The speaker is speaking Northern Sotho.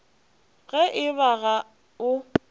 ge e ba ga o